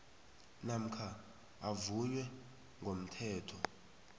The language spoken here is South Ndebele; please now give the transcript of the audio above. namkha avunywe ngomthetho